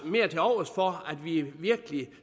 mere til overs for at vi virkelig